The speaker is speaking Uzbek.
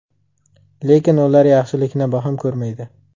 Lekin ular yaxshilikni baham ko‘rmaydi.